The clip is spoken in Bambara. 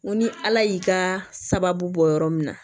N ko ni ala y'i ka sababu bɔ yɔrɔ min na